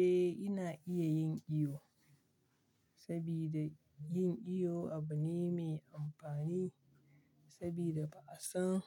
Eh, ina iya yin iyo, sabida yin iyo abu ne mai amfani sabida ba'a san